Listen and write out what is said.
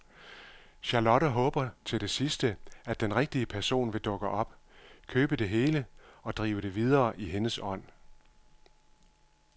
Charlotte håber til det sidste, at den rigtige person vil dukke op, købe det hele og drive det videre i hendes ånd.